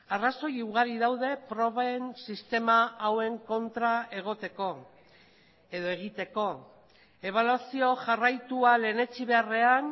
arrazoi ugari daude proben sistema hauen kontra egoteko edo egiteko ebaluazio jarraitua lehenetsi beharrean